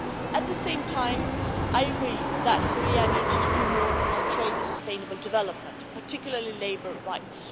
At the same time, I agree that Korea needs to do more on trade and sustainable development, particularly labour rights.